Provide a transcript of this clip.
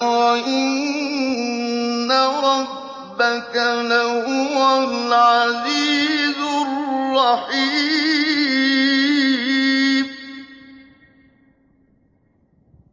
وَإِنَّ رَبَّكَ لَهُوَ الْعَزِيزُ الرَّحِيمُ